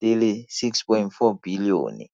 R6.4 bilione.